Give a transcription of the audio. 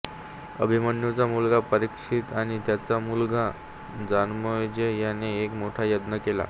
अभिमन्यूचा मुलगा परीक्षित आणि त्याचा मुलगा जनामेजय याने एक मोठा यज्ञ केला